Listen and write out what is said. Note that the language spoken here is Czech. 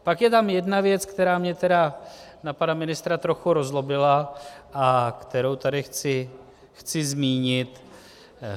Pak je tam jedna věc, která mě tedy na pana ministra trochu rozzlobila a kterou tady chci zmínit.